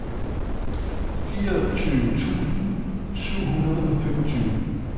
fireogtyve tusind syv hundrede og femogtyve